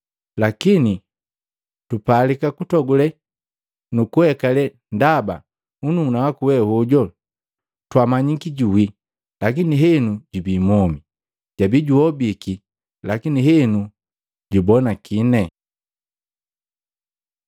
Lakini tupalika kutogule nukuhekale, ndaba nnuuna waku we hoju twamanyiki juwii, lakini henu jubii mwomi, jabi juhobiki, lakini henu jubonakini.’ ”